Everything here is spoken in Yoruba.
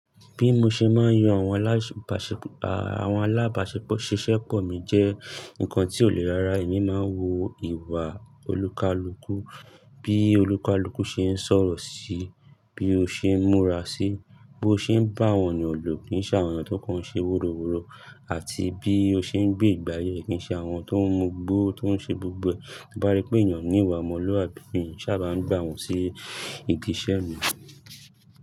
Bí mo ṣe máa ń yọ àwọn alábàṣepọ̀, àwọn alábàṣeṣẹ́ pọ̀ mi jẹ́ nǹkan tó le rára. Èmi máa ń wo ìwà olúkalúkú, bí olúkalúkú ṣe ń sọ̀rọ̀ sí, bí ó ṣe ń múra sí, bó ṣe ń bá àwọn ènìyàn lògí ní sá àwọn tó kàn ṣe woroworo àti bí ó ṣe ń gbé ìgbé ayé ẹ́ kii ṣe àwọn tó ń mú gbó, tó ń ṣe gbogbo. Bí bá rí pé ènìyàn ní ìwà mọ́lúàbí ni, sá à bá ń gbà wọ́n sí ìdí iṣẹ́ mi.